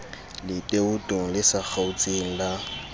letootong le sa kgaotseng la